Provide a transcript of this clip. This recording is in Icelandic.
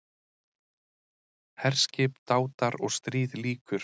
HERSKIP, DÁTAR OG STRÍÐ LÝKUR